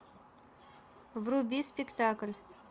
вруби спектакль